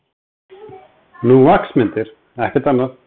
Nú, vaxmyndir, ekkert annað.